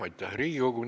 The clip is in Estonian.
Aitäh, Riigikogu!